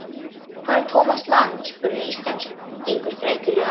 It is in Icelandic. Hvar er Thomas Lang? spurði Íslendingurinn frekjulega.